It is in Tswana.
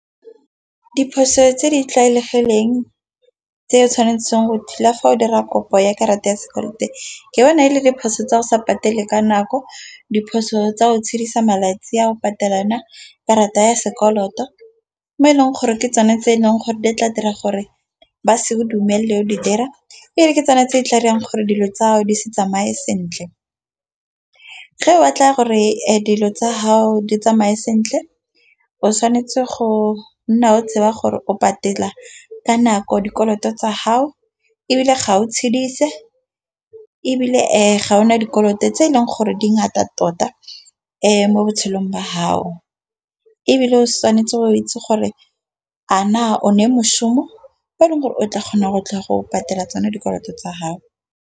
Diphoso tse di tlwaelegileng tse tshwanetseng go thula fa o dira kopo ya karata ya sekoloto e ke yone e le diphoso tsa go sa patele ka nako. Diphoso tsa go tshepisa malatsi a go patela kana karata ya sekoloto mo e leng gore ke tsone tse eleng gore di tla dira gore ba se o dumelele o di dira fa ke tswanetse e tla dirang gore dilo tsa gago di se tsamaye sentle. Ge o batla gore a dilo tsa gago di tsamae sentle o tshwanetse go nna o tshaba gore o patela ka nako dikoloto tsa gao, ebile ga o le ebile ga o na dikoloto tse eleng gore dingata tota mo botshelong ba gago ebile o se tshwanetse o itse gore mošhumo wa le gore o tla kgona go tla go patela tseno dikoloto tsa gago.